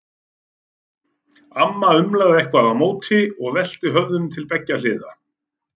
Amma umlaði eitthvað á móti og velti höfðinu til beggja hliða.